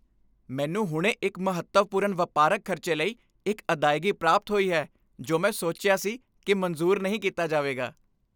ਮੈਨੂੰ ਹੁਣੇ ਇੱਕ ਮਹੱਤਵਪੂਰਨ ਵਪਾਰਕ ਖ਼ਰਚੇ ਲਈ ਇੱਕ ਅਦਾਇਗੀ ਪ੍ਰਾਪਤ ਹੋਈ ਹੈ ਜੋ ਮੈਂ ਸੋਚਿਆ ਸੀ ਕਿ ਮਨਜ਼ੂਰ ਨਹੀਂ ਕੀਤਾ ਜਾਵੇਗਾ।